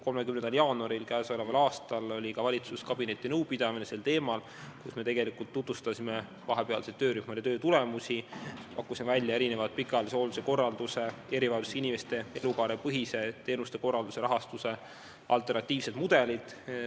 30. jaanuaril oli valitsuskabineti nõupidamine sel teemal, kus me tutvustasime vahepealseid töörühmade töötulemusi, pakkusime välja erinevad pikaajalise hoolduse korralduse, erivajadustega inimeste elukaarepõhise teenuste korralduse rahastuse alternatiivsed mudelid.